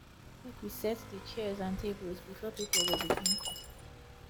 make we set di chairs and tables before pipo go begin come